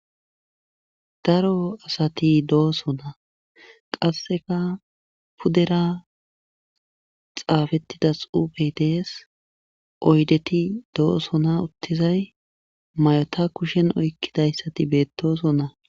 Daro asati de'osona, qaseka pudera xafeida xufey Des, oydeti dosona utizay mayota kushen oykidaysati dosona.